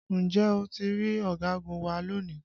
Ǹjẹ́ o ti rí ọ̀gagun wa lónìí?